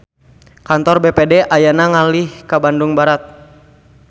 Kantor BPD ayeuna ngalih ka Bandung Barat